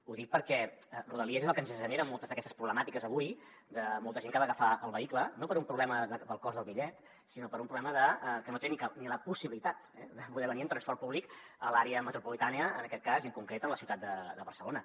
ho dic perquè rodalies és el que ens genera moltes d’aquestes problemàtiques avui de molta gent que ha d’agafar el vehicle no per un problema del cost del bitllet sinó per un problema de que no té ni la possibilitat de poder venir en transport públic a l’àrea metropolitana en aquest cas i en concret a la ciutat de barcelona